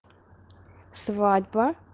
свадьба